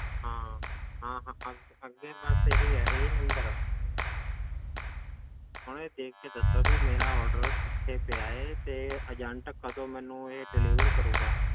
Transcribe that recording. ਹਾਂ ਹਾਂ ਹਾਂ ਅੱਗੇ ਅੱਗੇ ਬਸ ਇਹੀ ਆ ਇਹੀ number ਆ ਹੁਣੇ ਦੇਖ ਕੇ ਦੱਸੋ ਵੀ ਮੇਰਾ order ਕਿੱਥੇ ਪਿਆ ਹੈ ਤੇ agent ਕਦੋਂ ਮੈਨੂੰ ਇਹ delivery ਕਰੇਗਾ।